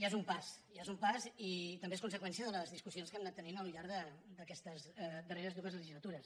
ja és un pas ja és un pas i també és conseqüència de les discus·sions que hem anat tenint al llarg d’aquestes darreres dues legislatures